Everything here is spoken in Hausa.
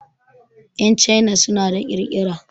Yan China suna da ƙirƙira.